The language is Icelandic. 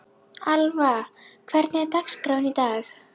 Alva, hvernig er dagskráin í dag?